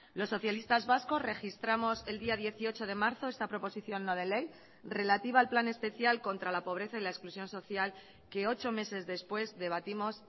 los socialistas vascos registramos el día dieciocho de marzo esta proposición no de ley relativa al plan especial contra la pobreza y la exclusión social que ocho meses después debatimos